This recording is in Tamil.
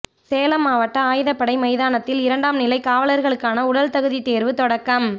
சேலம் மாவட்ட ஆயுதப்படை மைதானத்தில் இரண்டாம் நிலை காவலர்களுக்கான உடல் தகுதி தேர்வு தொடக்கம்